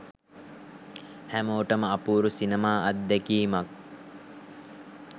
හැමෝටම අපූරු සිනමා අත්දැකීමක්